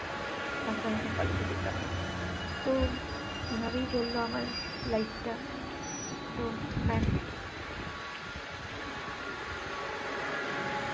college এ যেতাম না। তো এভাবেই চললো আমার life টা। তো ব্যাস।